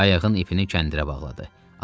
Qayığın ipini kəndirə bağladı.